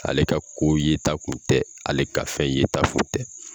Ale ka ko yeta kun tɛ, ale ka fɛn yeta fɔ tɛ!